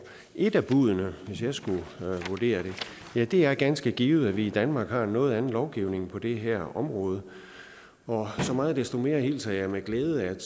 et af buddene hvis jeg skulle vurdere det er det er ganske givet at vi i danmark har en noget anden lovgivning på det her område og så meget desto mere hilser jeg med glæde at